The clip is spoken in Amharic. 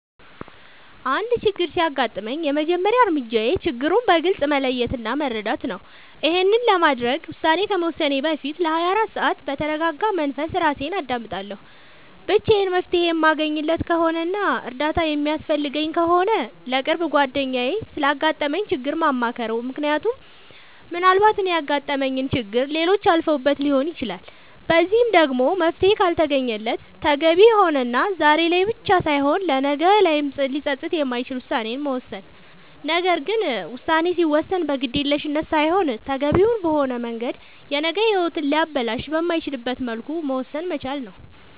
አንድ ችግር ሲያጋጥመኝ የመጀመሪያ እርምጃዬ ችግሩን በግልፅ መለየት እና መረዳት ነዉ ይሄንንም ለማድረግ ውሳኔ ከመወሰኔ በፊት ለ24 ሰዓት በተርጋጋ መንፈስ እራሴን አዳምጣለሁ ብቻዬን መፍትሄ የማለገኝለት ከሆነና እርዳታ የሚያስፈልገኝ ከሆነ ለቅርብ ጓደኛዬ ስላጋጠመኝ ችግር ማማከር ምክንያቱም ምናልባት እኔ ያጋጠመኝን ችግር ሌሎች አልፈውበት ሊሆን ይችላል በዚህም ደግሞ መፍትሄ ካልተገኘለት ተገቢ የሆነና ዛሬ ላይ ብቻ ሳይሆን ነገ ላይም ሊፀፅት የማይችል ውሳኔን መወሰን ነገር ግን ውሳኔ ሲወሰን በግዴለሽነት ሳይሆን ተገቢውን በሆነ መንገድ የነገ ሂወትን ሊያበላሽ በማይችልበት መልኩ መወሰን መቻል ነዉ